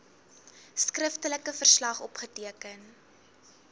skriftelike verslag opgeteken